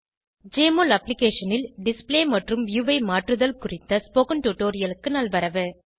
JMOL அப்ளிகேஷனில் display மற்றும் view ஐ மாற்றுதல் குறித்த ஸ்போகன் டுடோரியலுக்கு நல்வரவு